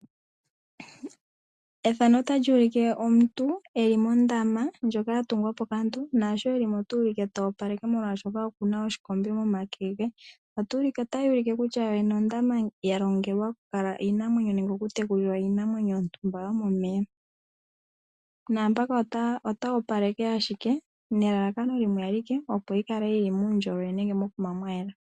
Omuntu oku li mondama ndjoka ya tungwa po kaantu. Oku li mo ta opaleke, oshoka oku na oshikombe momake ge. Otayi ulike kutya ondama ya longelwa okukala iinamwenyo nenge okutekulila iinamwenyo yontumba yomomeya. Omuntu ote yi opaleke, ashike nelalakano iinamwenyo yi kale yi li muundjolowele nenge mokuma mwa yela.